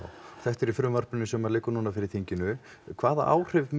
þetta er í frumvarpinu sem liggur núna fyrir þinginu hvaða áhrif